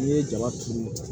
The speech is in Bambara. N'i ye jaba turu